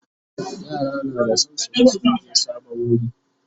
yara na da San su ga sun je sabon wuri